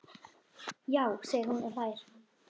Já, segir hún og hlær.